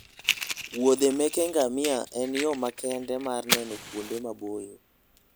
wuodhe meke ngamia en yo makende mar neno kuonde maboyo